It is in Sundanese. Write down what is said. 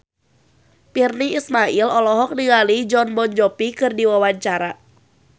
Virnie Ismail olohok ningali Jon Bon Jovi keur diwawancara